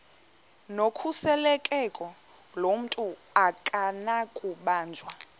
nokhuseleko lomntu akunakubanjwa